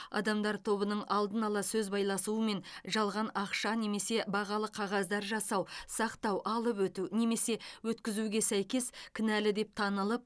адамдар тобының алдын ала сөз байласуымен жалған ақша немесе бағалы қағаздар жасау сақтау алып өту немесе өткізуге сәйкес кінәлі деп танылып